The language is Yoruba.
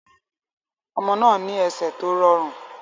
Ọmọ náà ní ẹsẹ̀ tó rọrùn.